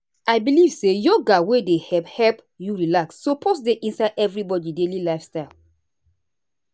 i believe say yoga wey dey help help you relax suppose dey inside everybody daily lifestyle.